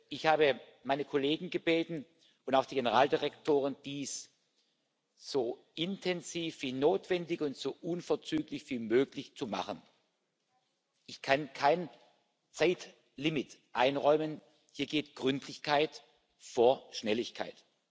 Ich habe meine Kollegen und auch die Generaldirektoren gebeten, dies so intensiv wie notwendig und so unverzüglich wie möglich zu machen. Ich kann kein Zeitlimit einräumen, hier geht Gründlichkeit vor Schnelligkeit.